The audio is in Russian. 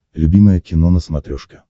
любимое кино на смотрешке